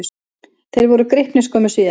Þeir voru gripnir skömmu síðar.